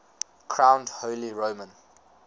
crowned holy roman